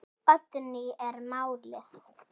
Oddný er málið.